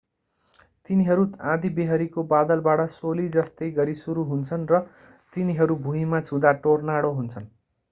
तिनीहरू आँधीबेहरीको बादलबाट सोली जस्तै गरेर सुरु हुन्छन् र तिनीहरू भुईमा छुँदा टोर्नाडो हुन्छन्